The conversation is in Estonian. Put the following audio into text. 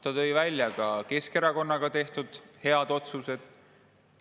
Ta tõi välja ka koos Keskerakonnaga tehtud head otsused.